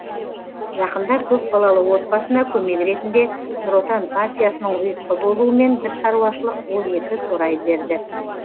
жақында көпбалалы отбасына көмек ретінде нұр отан партиясының ұйытқы болуымен бір шаруашылық он екі торай берді